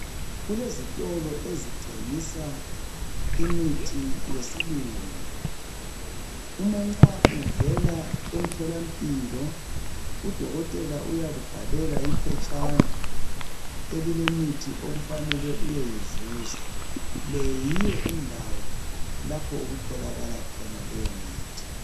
Kulezitolo ezithengisa imithi yesilungu. Umanxa uvela emtholampilo, udokotela uyakubhalela iphetshana elilemithi okufanele uyeyizuza. Le yiyo indawo lapho okutholakala khona leyo mithi.